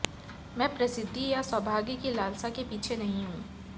मैं प्रसिद्धि या सौभाग्य की लालसा के पीछे नहीं हूं